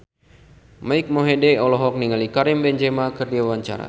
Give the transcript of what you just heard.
Mike Mohede olohok ningali Karim Benzema keur diwawancara